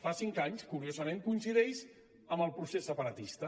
fa cinc anys curiosament coincideix amb el procés separatista